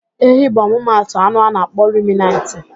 Ehi bụ ọmụmatụ anụ a na-akpọ ruminantị.